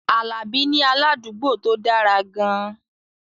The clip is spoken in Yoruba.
Alabi ní aládùúgbò tó dára gan-an